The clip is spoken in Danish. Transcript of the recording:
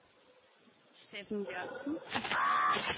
Stefan Jørgensen